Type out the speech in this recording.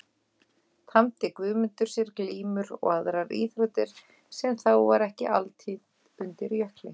Tamdi Guðmundur sér glímur og aðrar íþróttir sem þá var ekki altítt undir Jökli.